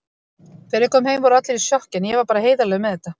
Þegar ég kom heim voru allir í sjokki, en ég var bara heiðarlegur með þetta.